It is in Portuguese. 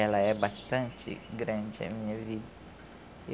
Ela é bastante grande a minha vida.